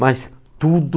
Mas tudo...